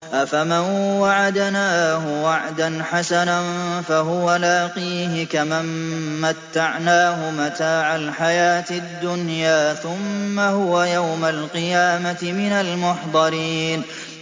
أَفَمَن وَعَدْنَاهُ وَعْدًا حَسَنًا فَهُوَ لَاقِيهِ كَمَن مَّتَّعْنَاهُ مَتَاعَ الْحَيَاةِ الدُّنْيَا ثُمَّ هُوَ يَوْمَ الْقِيَامَةِ مِنَ الْمُحْضَرِينَ